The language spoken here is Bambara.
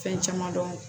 Fɛn caman dɔn